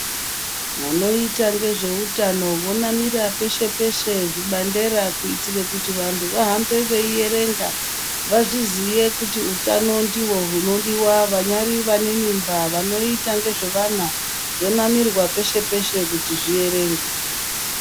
Vanoita ngezveutano vonamira peshe peshe zvibandera kutire kuti vantu vahambe veierenga vazviziye kuti utano ndihwo hunodiwa vanyari vane mimba vanoita ngezvevana zvonamirwa peshe peshe kuti zvierengwe.